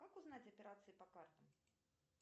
как узнать операции по картам